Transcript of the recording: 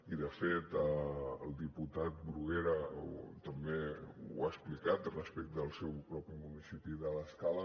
i de fet el diputat bruguera també ho ha explicat respecte al seu propi municipi de l’escala